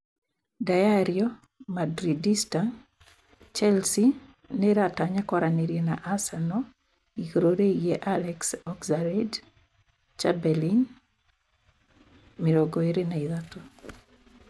(Diario Madridista) Chelsea nĩ ĩratanya kwaranĩria na Arsenal igũrũ rĩgiĩ Alex Oxlade-Chamberlain, 23.